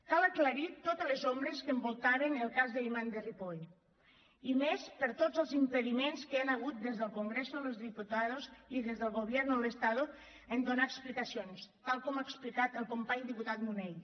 cal aclarir totes les ombres que envoltaven el cas de l’imam de ripoll i més per tots els impediments que hi han hagut des del congreso de los diputados i des del gobierno del estado en donar explicacions tal com ha explicat el company diputat munell